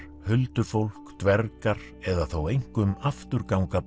huldufólk dvergar eða þó einkum afturganga